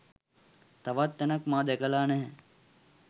තවත් තැනක් මා දැකලා නැහැ.